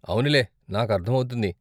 అవునులే, నాకు అర్ధమవుతుంది.